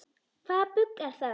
Hvaða bull er það?